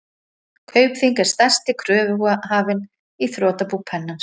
Kaupþing er stærsti kröfuhafinn í þrotabú Pennans.